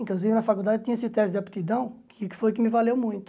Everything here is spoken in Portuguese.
Inclusive, na faculdade eu tinha esse teste de aptidão, que foi o que me valeu muito.